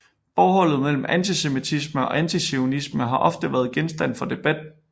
Forholdet mellem antisemitisme og antizionisme har ofte været genstand for debat